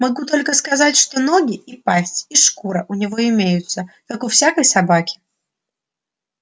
могу только сказать что ноги и пасть и шкура у него имеются как у всякой собаки